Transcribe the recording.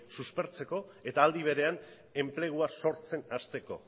suspertzeko eta aldi berean enplegua sortzen hasteko